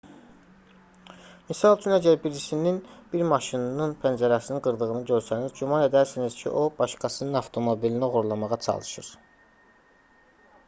misal üçün əgər birisinin bir maşının pəncərəsini qırdığını görsəniz güman edərsiniz ki o başqasının avtomobilini oğurlamağa çalışır